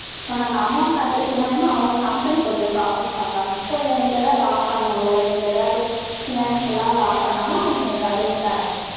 so நான் அந்த amount கட்டுறது மூலியமா, அவங்க company கொஞ்சம் coffee பார்ப்பாங்க. so எனக்கு எதாவது loss ஆனாலோ, எனக்கு ஏதாவது, financial ஆ loss ஆனாலோ, அவங்க எனக்கு advice தர்றாங்க.